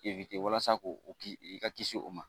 walasa k'o kisi i ka kisi o ma